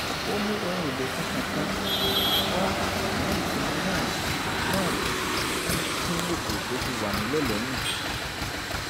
ó mú ohun èlò tuntun kan wá ṣùgbọ́n ìpinnu náà náà tún kín ètò tó ti wà nílẹ̀ lẹ́yìn